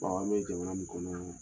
Bawo an bɛ jamana min kɔnɔ.